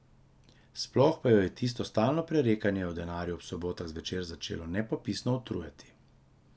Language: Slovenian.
Sploh pa jo je tisto stalno prerekanje o denarju ob sobotah zvečer začelo nepopisno utrujati.